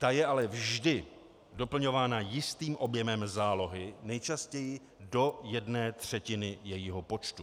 Ta je ale vždy doplňována jistým objemem zálohy, nejčastěji do jedné třetiny jejího počtu.